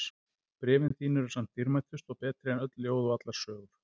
Bréfin þín eru samt dýrmætust og betri en öll ljóð og allar sögur.